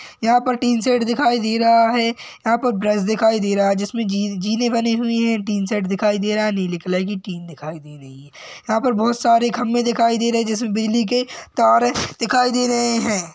यहाँ पर tin shed दिखाई दे रहा है यहाँ पर ब्रश दिखाई दे रहा है जिसमें जी जीने बने हुए है टीन शेड दिखाई दे रहा है नीले कलर की टीन दिखाई दे रही है यहाँ पर बहोत सारे खम्बे दिखाई दे रहे है जिसमें बिजली के तार है दिखाई दे रहे है।